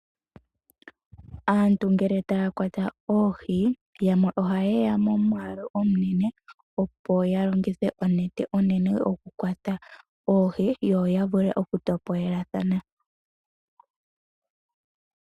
Aantu ngele taya kwata oohi yamwe oha yeya momwaalu omunene opo ya longithe onete onene okukwata oohi yo ya vule okutopolelathana.